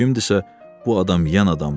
Kimdisə bu adam yaman adamdır.